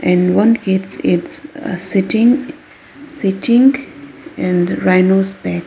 and one kids its ah sitting e sitting in rhinos back.